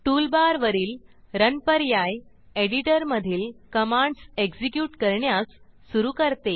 tool bar वरील run पर्याय editor मधील कमांड्स एक्सीक्यूट करण्यास सुरू करते